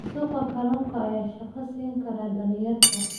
Suuqa kalluunka ayaa shaqo siin kara dhalinyarada.